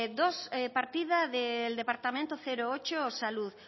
dos partida del departamento ocho salud